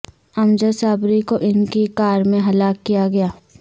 امجد صابری کو ان کی کار میں ہلاک کیا گیا